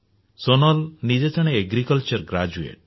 ସୋନାଲ ନିଜେ ଜଣେ agriculture graduate